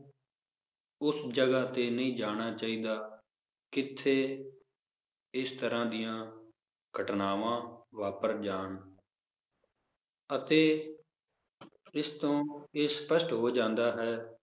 ਉਸ ਜਗਾਹ ਤੇ ਨਹੀਂ ਜਾਣਾ ਚਾਹੀਦਾ ਕਿਥੇ ਇਸ ਤਰਾਹ ਦੀਆਂ ਘਟਨਾਵਾਂ ਵਾਪਰ ਜਾਨ ਅਤੇ ਇਸ ਤੋਂ ਇਹ ਸਪਸ਼ਟ ਹੋ ਜਾਂਦਾ ਹੈ